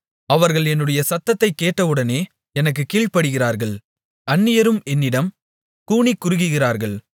அவர்கள் என்னுடைய சத்தத்தைக் கேட்டவுடனே எனக்குக் கீழ்ப்படிகிறார்கள் அந்நியரும் என்னிடம் கூனிக்குறுகுகிறார்கள்